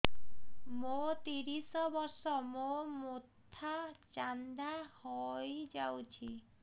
ମୋ ତିରିଶ ବର୍ଷ ମୋ ମୋଥା ଚାନ୍ଦା ହଇଯାଇଛି